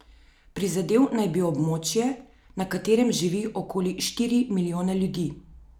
Prizadel naj bi območje, na katerem živi okoli štiri milijone ljudi.